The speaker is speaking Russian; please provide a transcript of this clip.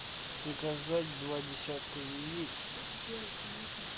заказать два десятка яиц